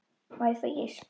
Má ég fá ís?